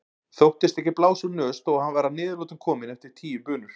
Þóttist ekki blása úr nös þó að hann væri að niðurlotum kominn eftir tíu bunur.